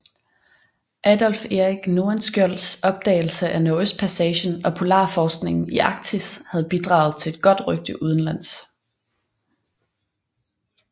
Adolf Erik Nordenskiölds opdagelse af Nordøstpassagen og polarforskningen i Arktis havde bidraget til et godt rygte udenlands